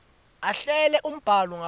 ahlele umbhalo ngaphandle